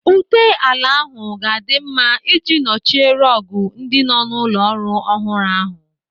Ute ala ahụ ga-adị mma ị ji nochie rọọgụ ndị nọ n'ụlọ ọrụ ọhụrụ ahụ.